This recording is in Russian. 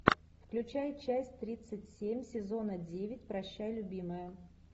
включай часть тридцать семь сезона девять прощай любимая